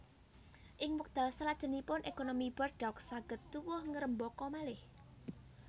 Ing wekdal salajengipun ékonomi Bordeaux saged tuwuh ngrembaka malih